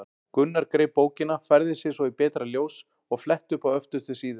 Gunnar greip bókina, færði sig svo í betra ljós og fletti upp á öftustu síðu.